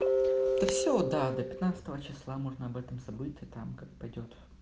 все да до пятнадцатого числа можно об этом забыть там как пойдёт